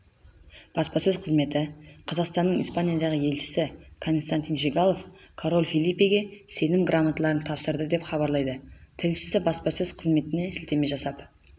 баспасөз қызметі қазақстанның испаниядағы елшісі константин жигалов король фелипеге сенім грамоталарын тапсырды деп хабарлайды тілшісі баспасөз қызметіне сілтеме жасап